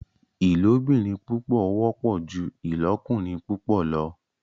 ilobìrin púpọ wọpọ jù ilokurin púpọ lọ.